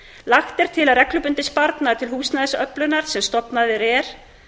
lagt er til að reglubundinn sparnaður til húsnæðisöflunar sem stofnað er